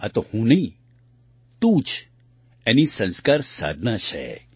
આ તો હું નહીં તું જ એની સંસ્કાર સાધના છે